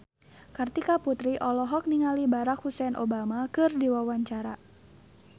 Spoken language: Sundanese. Kartika Putri olohok ningali Barack Hussein Obama keur diwawancara